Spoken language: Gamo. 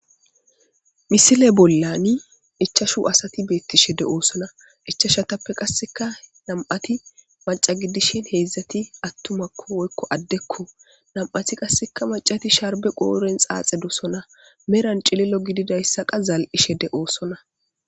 Misile bollan ichachu asati betishe de'osona ichachape qasika na'ati maca gidishin hezati atumako woyiko adeko na'ati qasi macati sharibe qodhen xaxidisona medha qa cililo gidizaysa za'ishe de'osona